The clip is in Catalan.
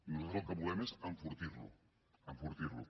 nosaltres el que volem és enfortir lo enfortir lo